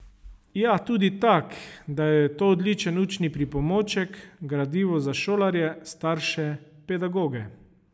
Ja tudi tak, da je to odličen učni pripomoček, gradivo za šolarje, starše, pedagoge...